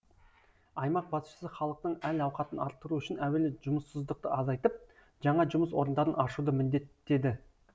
аймақ басшысы халықтың әл ауқатын арттыру үшін әуелі жұмыссыздықты азайтып жаңа жұмыс орындарын ашуды міндеттеді